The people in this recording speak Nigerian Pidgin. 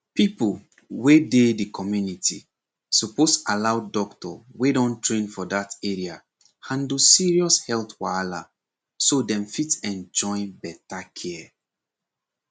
people wey dey the community suppose allow doctor wey don train for that area handle serious health wahala so dem fit enjoy better care